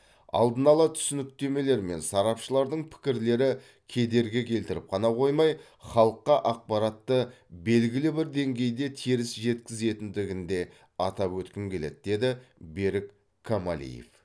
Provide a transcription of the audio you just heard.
алдын ала түсініктемелер мен сарапшылардың пікірлері кедергі келтіріп қана қоймай халыққа ақпаратты белгілі бір деңгейде теріс жеткізетіндігін де атап өткім келеді деді берік камалиев